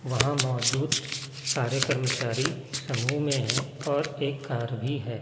वहां मौजूद सारे कर्मचारी समूह में है और एक कार भी है।